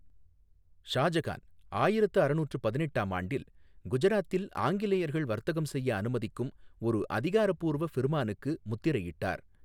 ஷாஜகான் ஆயிரத்து அறநூற்று பதினெட்டாம் ஆண்டில் குஜராத்தில் ஆங்கிலேயர்கள் வர்த்தகம் செய்ய அனுமதிக்கும் ஒரு அதிகாரப்பூர்வ ஃபிர்மானுக்கு முத்திரையிட்டார்.